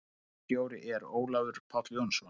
Ritstjóri er Ólafur Páll Jónsson.